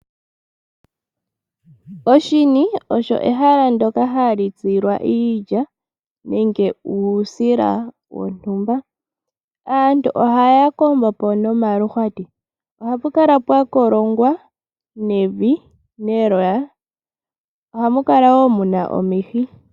Oshini osho ehala ndoka hali tsilwa iilya nenge uusila wontumba. Aantu ohaya kombopo nomaluhwatu. Ohapu kala pwa kolongwa nevi lye loya. Ohamu kala woo muna omihi.